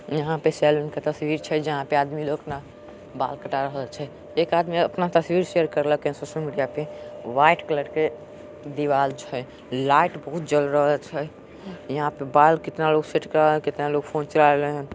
यहाँ पे सैलून का तस्वीर छे जहाँ पर आदमी लोग अपना बाला कटा रहल छे एक आदमी अपना तस्वीर शेयर करलख है सोशल मिडिया पे वाईट कलर के दीवार छे लाइट बहुत जल रहल छे यहाँ पर बाला कितना लोग बाल सेट कारा रहा है और कितना लोग फोन चला रहा है।